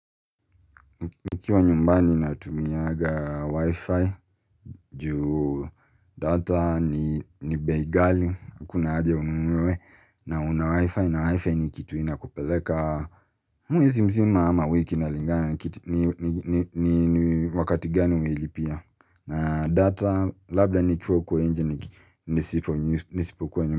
Nikiwa nyumbani na tumiaga wifi juu data ni bei ghali, hakuna haja ununuwe na una wifi, na wifi ni kitu inakupeleka, mwezi mzima ama wiki inalingana ni wakati gani umeilipia, na data labda nikiwa huko nje niisipo kuwa.